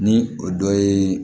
Ni o dɔ ye